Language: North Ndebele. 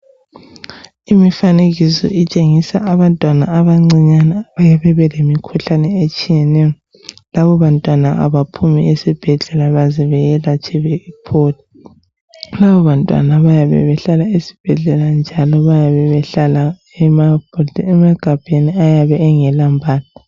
Imifanekiso etshengisa abantwana abancane abalemikhuhlane etshiyeneyo. Labo bantwana abaphumi esibhedlela baze beyelatshwe bephole. Labo bantwana bayabe behlala esibhedlela njalo bayabe behlala emagabheni bayabe bengelampahla.